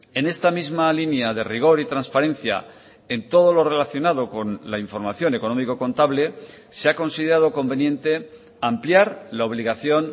en esta misma línea de rigor y transparencia en todo lo relacionado con la información económico contable se ha considerado conveniente ampliar la obligación